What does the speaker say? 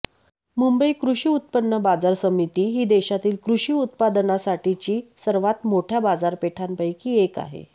मुंबई कृषी उत्पन्न बाजार समिती ही देशातील कृषी उत्पादनासाठीची सर्वात मोठ्या बाजारपेठांपैकी एक आहे